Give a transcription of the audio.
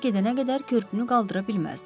Onlar gedənə qədər körpünü qaldıra bilməzdim.